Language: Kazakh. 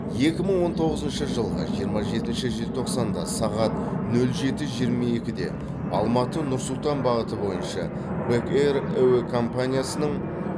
екі мың он тоғызыншы жылғы жиырма жетінші желтоқсанда сағат нөл жеті жиырма екіде алматы нұр сұлтан бағыты бойынша бэк эйр әуе компаниясының